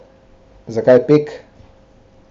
Zakaj pek?